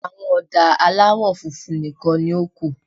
Àwọn ọ̀dà aláwọ̀ funfun nìkan ni ó kù.